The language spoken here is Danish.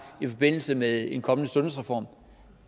i forbindelse med en kommende sundhedsreform